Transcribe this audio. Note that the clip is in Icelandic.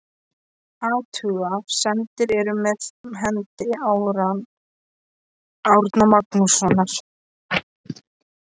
Athuga semdir eru með hendi Árna Magnússonar.